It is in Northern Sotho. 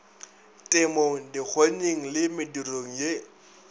temong dikgonyeng le medirong ye